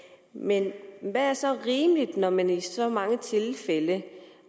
men hvad er så rimeligt når man i så mange tilfælde